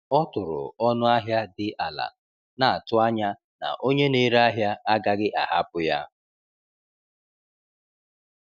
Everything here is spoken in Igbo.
Ọ tụrụ ọnụ ahịa dị ala, na-atụ anya na onye na-ere ahịa agaghị ahapụ ya.